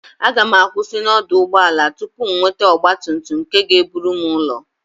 A gam akwusi na oduugboala tupu m nwete ogba tum tum nke ga eburu m ulo